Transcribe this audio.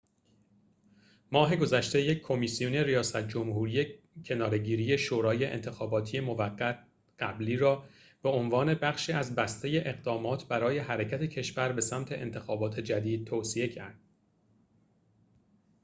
ماه گذشته یک کمیسیون ریاست جمهوری کناره‌گیری شورای انتخاباتی موقت قبلی را به عنوان بخشی از بسته اقدامات برای حرکت کشور به سمت انتخابات جدید توصیه کرد